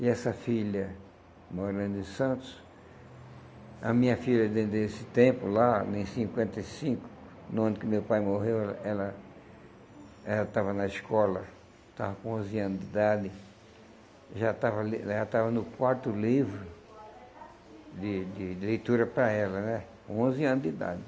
E essa filha morando em Santos, a minha filha desde esse tempo lá, em cinquenta e cinco, no ano que meu pai morreu, ela ela estava na escola, estava com onze anos de idade, já estava ali já estava no quarto livro de de de leitura para ela né, com onze anos de idade.